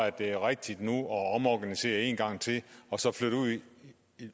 at det er rigtigt nu at omorganisere en gang til og så flytte